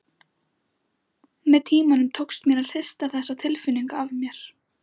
Með tímanum tókst mér að hrista þá tilfinningu af mér.